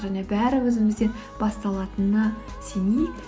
және бәрі өзімізден басталатынына сенейік